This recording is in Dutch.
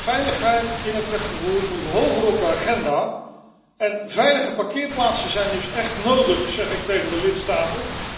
Veiligheid in het wegvervoer moet hoger op de agenda en veilige parkeerplaatsen zijn dus echt nodig, zeg ik tegen de lidstaten.